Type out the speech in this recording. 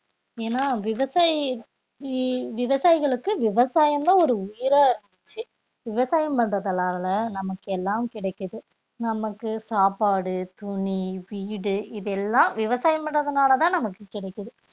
ஏன்னா விவசாயி ~யி விவசாயிகளுக்கு விவசாயம்தான் ஒரு உயிரா இருந்துச்சு விவசாயம் பண்றதனால நமக்கு எல்லாம் கிடைக்குது நமக்கு சாப்பாடு, துணி, வீடு இதெல்லாம் விவசாயம் பண்றதுனாலதான் நமக்கு கிடைக்குது